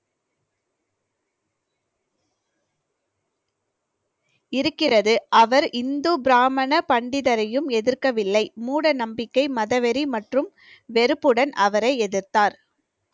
இருக்கிறது அவர் இந்து பிராமண பண்டிதரையும் எதிர்க்கவில்லை மூட நம்பிக்கை மதவெறி மற்றும் வெறுப்புடன் அவரை எதிர்த்தார்